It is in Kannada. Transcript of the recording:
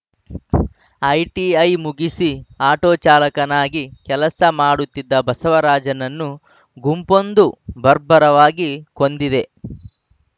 ಐಟಿಐ ಮುಗಿಸಿ ಆಟೋ ಚಾಲಕನಾಗಿ ಕೆಲಸ ಮಾಡುತ್ತಿದ್ದ ಬಸವರಾಜನನ್ನು ಗುಂಪೊಂದು ಬರ್ಬರವಾಗಿ ಕೊಂದಿದೆ